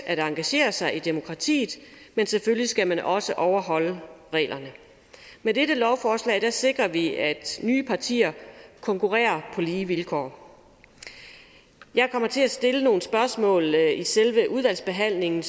at engagere sig i demokratiet men selvfølgelig skal man også overholde reglerne med dette lovforslag sikrer vi at nye partier konkurrerer på lige vilkår jeg kommer til at stille nogle spørgsmål i selve udvalgsbehandlingen